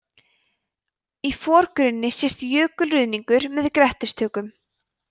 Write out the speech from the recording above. í forgrunni sést jökulruðningur með grettistökum